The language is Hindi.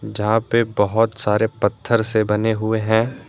जहां पे बहुत सारे पत्थर से बने हुए है।